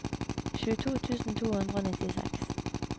tjueto tusen to hundre og nittiseks